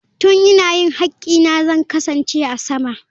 Tun ina yin haƙƙina zan kasance a sama.